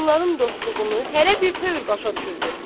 bunların dostluğunu hərə bir tərz başa düşürdü.